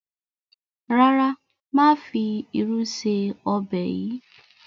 ràrá má fí ìrù sí Ọbẹ̀ yí.